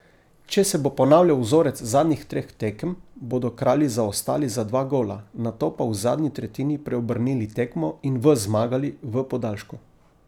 Če se bo ponavljal vzorec zadnjih treh tekem, bodo Kralji zaostali za dva gola, nato pa v zadnji tretjini preobrnili tekmo in v zmagali v podaljšku.